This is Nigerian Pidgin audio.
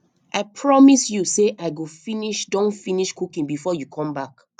i promise you say i go finish don finish cooking before you come back